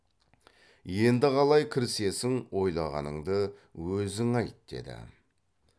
енді қалай кірісесің ойлағаныңды өзің айт деді